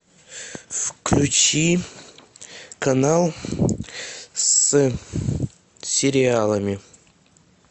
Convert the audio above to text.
включи канал с сериалами